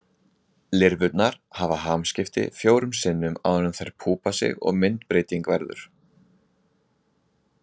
Lirfurnar hafa hamskipti fjórum sinnum áður en þær púpa sig og myndbreyting verður.